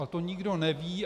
A to nikdo neví.